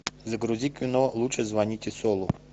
загрузи кино лучше звоните солу